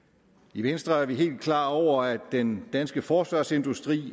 i venstre er vi helt klar over at den danske forsvarsindustri i